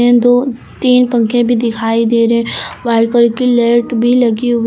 दो तीन पंखे भी दिखाई दे रहे व्हाइट कलर की लाइट भी लगी हुई--